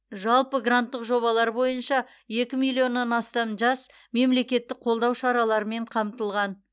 жалпы гранттық жобалар бойынша екі миллионнан астам жас мемлекеттік қолдау шараларымен қамтылған